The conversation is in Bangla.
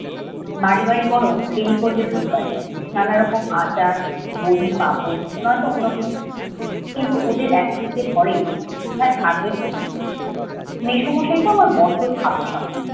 বাড়ি বাড়ি বরং ফেরি করবে ধুপ কাঠি। নানা রকম আচার, বড়ি, পাপড় নয়তো অন্য কিছু। কিন্তু ওদের এক চিমটে ঘরেই কোথায় থাকবে শুনি। মেসোমশাইতো আবার বড্ড ছাপোষা মানুষ।